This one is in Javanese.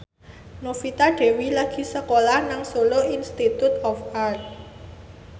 Novita Dewi lagi sekolah nang Solo Institute of Art